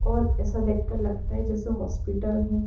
और ऐसा देख कर लगता है जैसे हॉस्पिटल है।